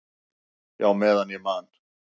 """Já, meðan ég man."""